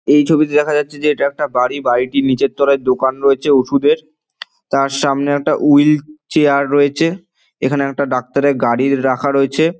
এই ছবিতে দেখা যাচ্ছে যে এটা একটা বাড়ি বাড়িটির নিচের তলায় দোকান রয়েছে। ওষুধের তার সামনে একটা উইল চেয়ার রয়েছে। এখানে একটা ডক্টর -এর গাড়ি রাখা রয়েছে।